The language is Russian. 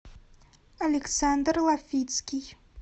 александр лафицкий